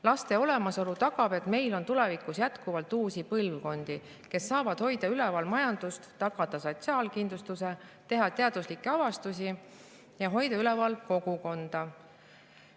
Laste olemasolu tagab, et meil on tulevikus jätkuvalt uusi põlvkondi, kes saavad üleval hoida majandust, tagada sotsiaal, teha teaduslikke avastusi ja hoida üleval kogukonda.